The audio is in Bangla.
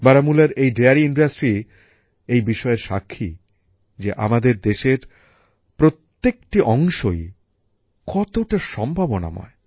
বারামুলার এই দোহ শিল্পের বিষয়ের সাক্ষী যে আমাদের দেশের প্রত্যেকটি অংশই কতটা সম্ভাবনাময়